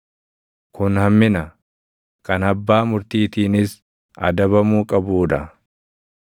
Kun hammina; kan abbaa murtiitiinis adabamuu qabuu dha.